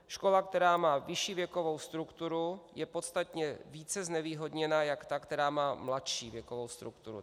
Škola, která má vyšší věkovou strukturu, je podstatně více znevýhodněna než ta, která má mladší věkovou strukturu.